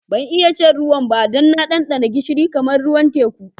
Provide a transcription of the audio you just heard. Ban iya shan ruwan ba dan na dandana gishiri kamar ruwan teku.